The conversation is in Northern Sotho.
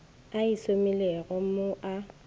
a e šomilego mo a